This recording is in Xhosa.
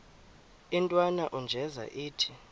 intwana unjeza ithi